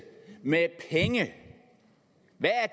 det